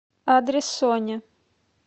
адрес соня